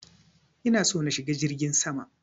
Ina so na shiga jirgin sama.